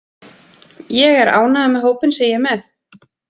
Ég er ánægður með hópinn sem ég er með.